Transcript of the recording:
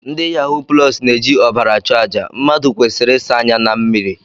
Ndị yahuu plọs na-eji ọbara achụ àjà, mmadụ kwesịrị ịsa anya na mmiri